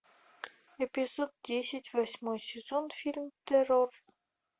эпизод десять восьмой сезон фильм террор